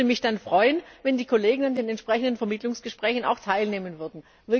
Ich würde mich freuen, wenn die Kollegen an den entsprechenden Vermittlungsgesprächen auch teilnehmen würden.